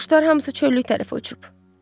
Quşlar hamısı çöllük tərəfə uçub.